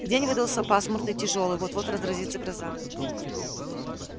день выдался пасмурный и тяжёлый вот-вот разразится гроза